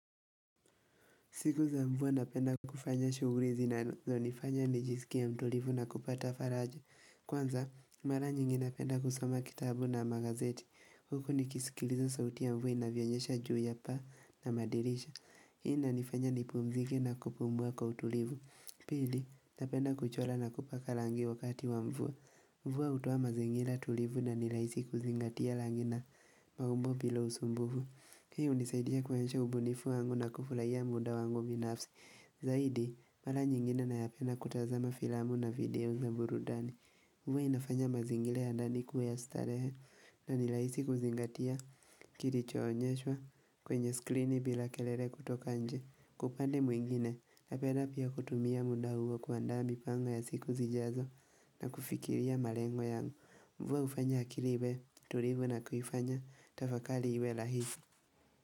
Siku za mvua napenda kufanya shughuli zinazonifanya nijisikie mtulivu na kupata faraja. Kwanza, mara nyingi napenda kusoma kitabu na magazeti. Huku nikisikiliza sauti ya mvua inavyonyesha juu ya paa na madirisha. Hii inanifanya nipumzike na kupumua kwa utulivu. Pili, napenda kuchora na kupaka rangi wakati wa mvua. Mvua hutua mazingira tulivu na ni rahisi kuzingatia rangi na maumbo bila usumbufu. Kini hunisaidia kuwezesha ubunifu wangu na kufurahia muda wangu binafsi. Zaidi, mara nyingine nayapenda kutazama filamu na video za burudani. Hua inafanya mazingira ya ndani ikuwe ya starehe na ni rahisi kuzingatia kilichoonyeshwa kwenye skrini bila kelele kutoka nje. Kwa upande mwingine, napenda pia kutumia muda huo kuandaa mipango ya siku zijazo na kufikiria malengo yangu Mvua hufanya akili iwe tulivu na kuifanya, tafakari iwe rahisi.